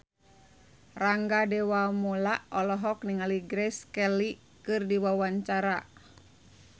Rangga Dewamoela olohok ningali Grace Kelly keur diwawancara